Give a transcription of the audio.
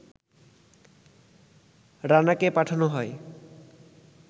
রানাকে পাঠানো হয়